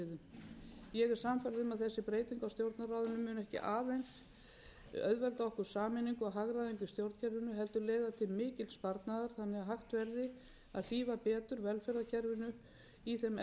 okkur sameiningu og hagræðingu í stjórnkerfinu heldur leiða til mikils sparnaðar þannig að hægt verði að hlífa betur velferðarkerfinu í þeim efnahagsþrengingum sem við erum